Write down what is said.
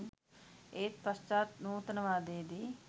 ඒත් පශ්චාත් නූතනවාදයේදී